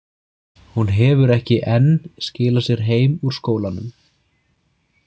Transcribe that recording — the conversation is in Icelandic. Hún hefur ekki enn skilað sér heim úr skólanum.